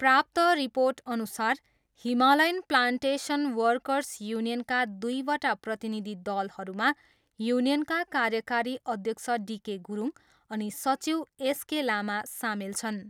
प्राप्त रिर्पोटअनुसार Himalayan plantation workers युनियनका दुईवटा प्रतिनिधि दलहरूमा युनियनका कार्यकारी अध्यक्ष डी .के गुरुङ अनि सचिव एस .के. लामा सामेल छन्।